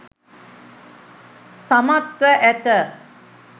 සමත්ව ඇත.